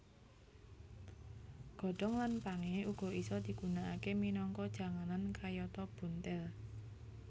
Godhong lan pangé uga isa digunakaké minangka janganan kayata buntil